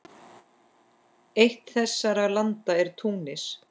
Eitt þessara landa er Túnis.